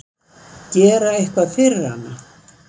Gera eitthvað fyrir hana.